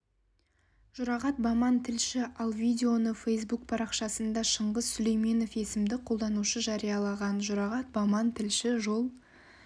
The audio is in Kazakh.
жұрағат баман тілші ал видеоны фейсбук парақшасында шыңғыс сүлейменов есімді қолданушы жариялаған жұрағат баман тілші жол